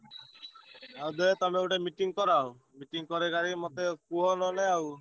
ଆଉ ଦେ~ ତମେ ଗୋଟେ meeting କରାଅ। meeting କରେଇ କାରେଇ ମତେ କୁହ ନହେଲେ ଆଉ।